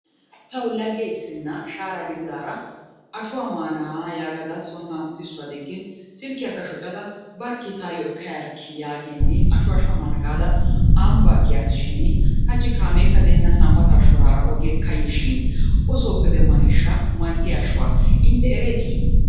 Tawu lagge issina shaara gididaara ashuwa maanaa yaagada tana sooni uttissuwa digin silkiyaakka shoccada barkki taayo ekka yaarikki yaagin ashuwa shammana gaada ambbaa kiyaas shin hachchi kaamekka de'ena sanbbataa shoraara ogee kaye shin oysoppe demmaneeshsha mal'iya ashuwa intte ereetti?